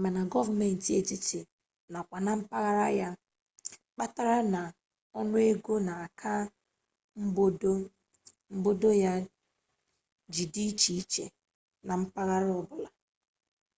ma na goomenti etiti na kwa na mpaghara ya kpatara na onuego n'aka mgbodo ya ji di iche iche na mpaghara obula